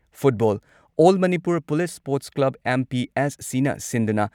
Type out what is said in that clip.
football all Manipur police sports club ꯑꯦꯝ.ꯄꯤ.ꯑꯦꯁ.ꯁꯤꯅ ꯁꯤꯟꯗꯨꯅ